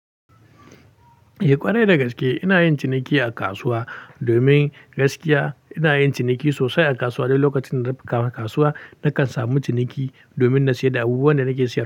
Eh ƙwarai dagaske ina yin ciniki a kasuwa, domin gaskiya ina yin ciniki sosai a kasuwa duk lokacin da kasuwa nakan samu ciniki domin na siyar da abubuwan da nake siyarwa.